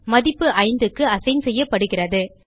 மதிப்பு 5க்கு அசைன் செய்யப்படுகிறது